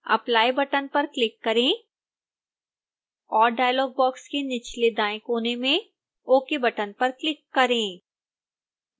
apply button पर click करें और डायलॉग बॉक्स के निचले दाएं कोने में ok बटन पर क्लिक करें